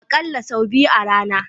Akalla sau biyu a rana.